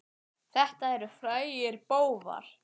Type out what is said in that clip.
Þetta eru frægir bófar.